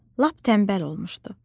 Lap tənbəl olmuşdu.